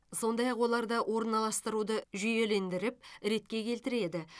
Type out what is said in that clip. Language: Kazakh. сондай ақ оларды орналастыруды жүйелендіріп ретке келтіреді